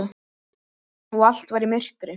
og allt var í myrkri.